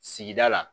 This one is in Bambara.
Sigida la